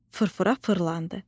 Fırfıra fırlandı.